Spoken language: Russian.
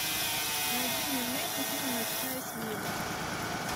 найди мне в нете фильм ночная смена